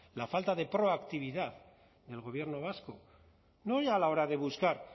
la falta de proactividad del gobierno vasco no ya a la hora de buscar